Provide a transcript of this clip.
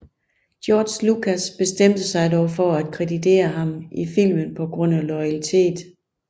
George Lucas bestemte sig dog for at kreditere ham i filmen på grund af loyalitet